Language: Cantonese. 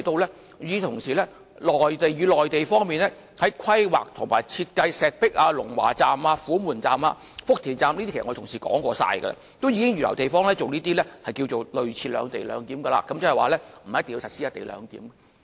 與此同時，文件提到內地在規劃及設計石壁站、龍華站、虎門站、福田站時——這是我的同事也說過的了——也已經預留地方作類似的"兩地兩檢"，即不一定要實施"一地兩檢"。